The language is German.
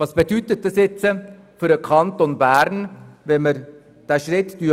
Was bedeutet das jetzt für den Kanton Bern, wenn wir uns dort anschliessen?